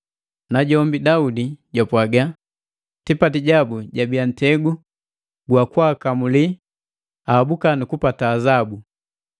Najombi Daudi jupwaga, “Tipati jabu jabia ntegu gwa kwaakamuli, ahabuka nukupata azabu.